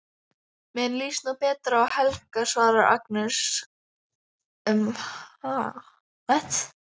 Mér líst nú betur á Helga, svarar Agnes um hæl.